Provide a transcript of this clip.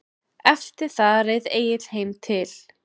Eftir það reið Egill heim til